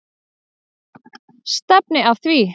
Stefni að því.